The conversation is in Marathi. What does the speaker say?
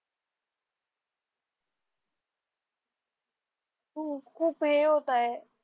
हो खूप हे होत आहे